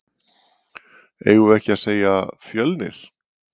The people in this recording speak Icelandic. Eigum við ekki að segja Fjölnir?